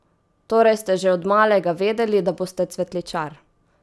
Torej ste že od malega vedeli, da boste cvetličar?